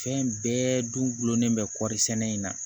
Fɛn bɛɛ dulonlen bɛ kɔɔri sɛnɛ in na